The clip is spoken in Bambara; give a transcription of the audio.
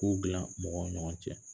K'ow dilan mɔgɔ ni ɲɔgɔn cɛ